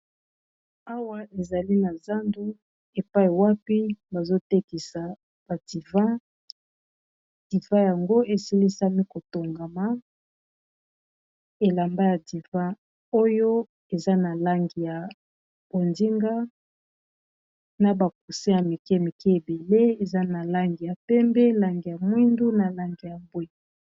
Awa ezali na zandu epai wapi bazotekisa badivi divi yango esilisami kotongama elamba ya divi oyo eza na langi ya bondinga, na bakuse ya mike mike ebele eza na langi ya pembe, langi ya mwindu na langi ya bwe.